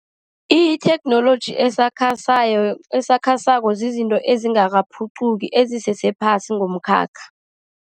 Itheknoloji esakhasako, esakhasako zizinto ezingakaphuquki, ezisese phasi ngomkhakha.